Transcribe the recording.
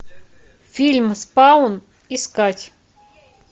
фильм спаун искать